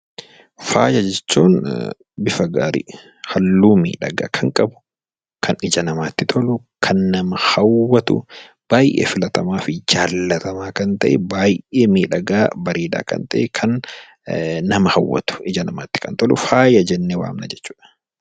Faaya jechuun bifa gaarii, halluu miidhagaa kan qabu, kan ija namatti tolu, kan nama hawwatu baayyee filataa fi jaallatamaa kan ta'e, baayyee miidhagaa , bareedaa kan ta'e nama hawwatu, ija namaatti tolu faaya jennee waamna jechuudha.